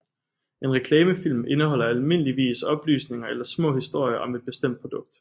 En reklamefilm indeholder almindeligvis oplysninger eller små historier om et bestemt produkt